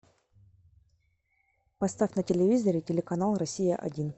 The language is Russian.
поставь на телевизоре телеканал россия один